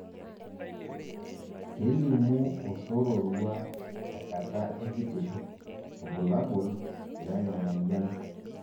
kelimu osororua te nkata ekitisho irbulabol le na moyian